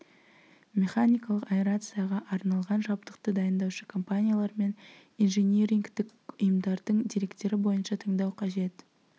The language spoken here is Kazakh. механикалық аэрацияға арналған жабдықты дайындаушы компаниялар мен инжинирингтік ұйымдардың деректері бойынша таңдау қажет